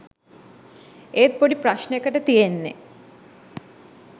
ඒත් පොඩි ප්‍රශ්නෙකට තියෙන්නෙ